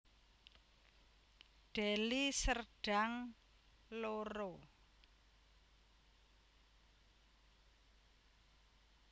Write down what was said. Deli Serdang loro